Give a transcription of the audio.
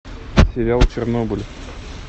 сериал чернобыль